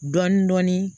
Dɔɔnin dɔɔnin